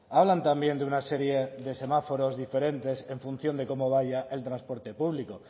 hablan también de una serie de semáforos diferentes en función de cómo vaya el transporte público